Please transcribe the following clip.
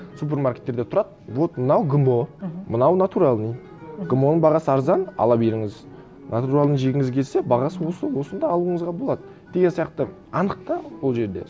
супермаркеттерде тұрады вот мынау гмо мынау натуральный гмо ның бағасы арзан ала беріңіз натуральный жегіңіз келсе бағасы осы осыны да алуыңызға болады деген сияқты анық та ол жерде